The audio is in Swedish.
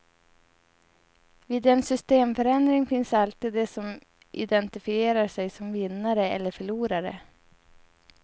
Vid en systemförändring finns alltid de som identifierar sig som vinnare eller förlorare.